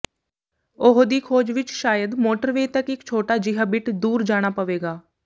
ਉਹ ਦੀ ਖੋਜ ਵਿੱਚ ਸ਼ਾਇਦ ਮੋਟਰਵੇਅ ਤੱਕ ਦਾ ਇੱਕ ਛੋਟਾ ਜਿਹਾ ਬਿੱਟ ਦੂਰ ਜਾਣਾ ਪਵੇਗਾ